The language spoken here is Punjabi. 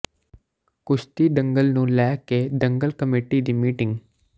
ਕੁਸ਼ਤੀ ਦੰਗਲ ਨੂੰ ਲੈ ਕੇ ਦੰਗਲ ਕਮੇਟੀ ਦੀ ਮੀਟਿੰਗ